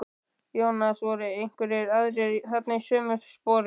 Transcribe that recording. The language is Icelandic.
Jónas: Voru einhverjir aðrir þarna í sömu sporum?